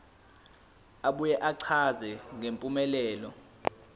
abuye achaze ngempumelelo